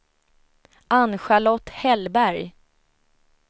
Ann-Charlotte Hellberg